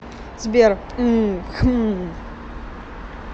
сбер мм хмм